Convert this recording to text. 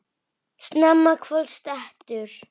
Snemma kvölds dettur